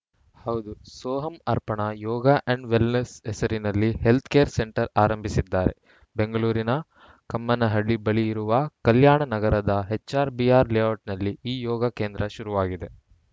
ಹೌದು Soham Arpana yoga and wellness ಹೆಸರಿನಲ್ಲಿ health care centre ಆರಂಭಿಸಿದ್ದಾರೆ ಬೆಂಗಳೂರಿನ ಕಮ್ಮನಹಳ್ಳಿ ಬಳಿ ಇರುವ ಕಲ್ಯಾಣ ನಗರದ ಎಚ್‌ಆರ್‌ಬಿಆರ್‌ ಲೇಔಟ್‌ನಲ್ಲಿ ಈ ಯೋಗ ಕೇಂದ್ರ ಶುರುವಾಗಿದೆ